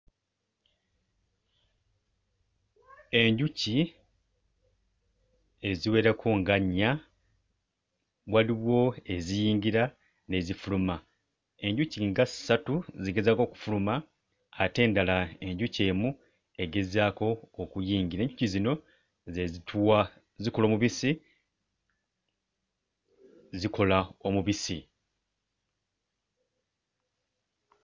Enjuki eziwerako nga nnya, waliwo eziyingira n'ezifuluma, enjuki nga ssatu zigezaako okufuluma ate endala enjuki emu egezaako okuyingira. Enjuki zino ze zituwa zikola omubisi, zikola omubisi.